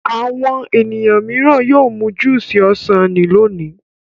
Àwọn ènìyàn mìíràn yóò mu júúsì ọsàn ní lónìí.